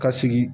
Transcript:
Ka sigi